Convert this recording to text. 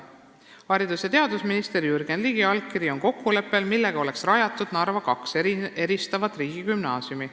Haridus- ja teadusminister Jürgen Ligi allkiri on kokkuleppel, millega oleks rajatud Narva kaks eristavat riigigümnaasiumi.